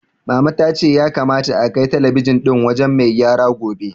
Mama ta ce ya kamata akai talabijin ɗin wajen mai gyara gobe.